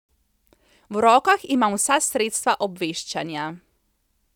V rokah imam vsa sredstva obveščanja.